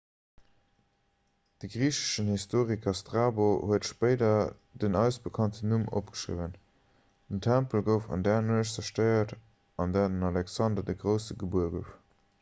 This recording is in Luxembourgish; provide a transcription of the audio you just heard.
de griicheschen historiker strabo huet spéider den eis bekannten numm opgeschriwwen den tempel gouf an där nuecht zerstéiert an där den alexander de grousse gebuer gouf